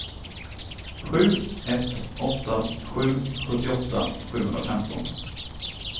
sju ett åtta sju sjuttioåtta sjuhundrafemton